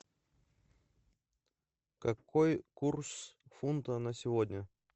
какой курс фунта на сегодня